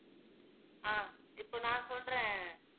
ஆஹ் இப்ப நான் சொல்றேன்